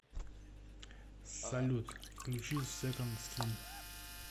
салют включи секонд скин